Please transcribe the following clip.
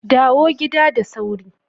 Dawo gida da sauri.